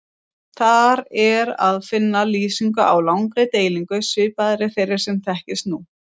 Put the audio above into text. Þar er að finna lýsingu á langri deilingu svipaðri þeirri sem þekkist nú.